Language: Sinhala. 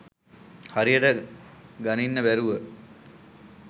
හරියට ගනින්න බැරුව